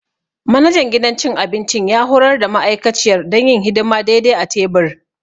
Manajan gidan cin abinci ya horar da ma'aikaciyar don yin hidima daidai a tebur.